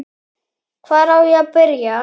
Hvar á ég að byrja!